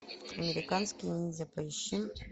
американский ниндзя поищи